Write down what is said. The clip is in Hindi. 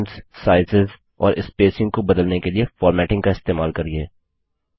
फोंट्स साइजेस और स्पेसिंग को बदलने के लिए फॉर्मेटिंग का इस्तेमाल करिये